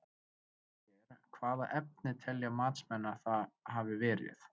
Ef svo er, hvaða efni telja matsmenn að það hafi verið?